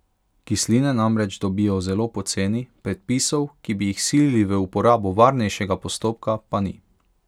Kisline namreč dobijo zelo poceni, predpisov, ki bi jih silili v uporabo varnejšega postopka, pa ni.